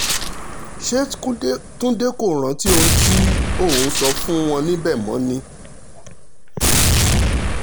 ṣe túnde kò rántí ohun tí òun sọ fún wọn níbẹ̀ mọ́ ni